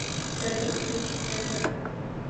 салют включи центр